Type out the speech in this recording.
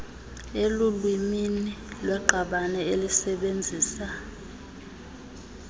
elulwimini lweqabane elisebenzisa